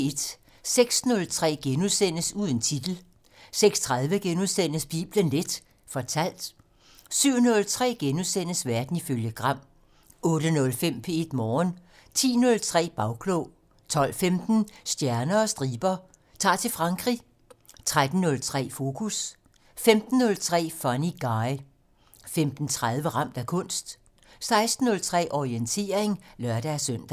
06:03: Uden titel * 06:30: Bibelen Leth fortalt * 07:03: Verden ifølge Gram * 08:05: P1 Morgen 10:03: Bagklog 12:15: Stjerner og striber - Ta'r til Frankrig 13:03: Fokus 15:03: Funny Guy 15:30: Ramt af kunst 16:03: Orientering (lør-søn)